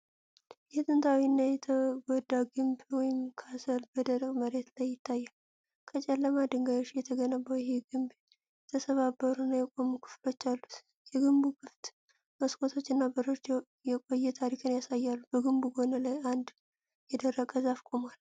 ጥንታዊ እና የተጎዳ ግንብ (ካስል) በደረቅ መሬት ላይ ይታያል። ከጨለማ ድንጋዮች የተገነባው ይህ ግንብ የተሰባበሩና የቆሙ ክፍሎች አሉት። የግንቡ ክፍት መስኮቶችና በሮች የቆየ ታሪክን ያሳያሉ። በግንቡ ጎን ላይ አንድ የደረቀ ዛፍ ቆሟል።